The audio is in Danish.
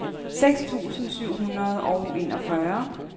seks tusind syv hundrede og enogfyrre